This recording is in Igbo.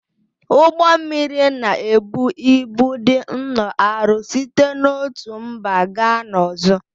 Ụgbọ mmiri na-ebu ịbụ dị nnọọ arọ site n'otu mba gaa n'ọzọ